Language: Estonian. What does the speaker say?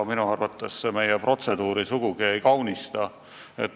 Minu arvates selline keeld meie protseduuri sugugi ei kaunista.